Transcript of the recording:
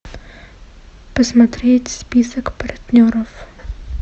посмотреть список партнеров